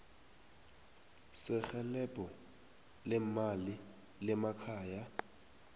serhelebho leemali lemakhaya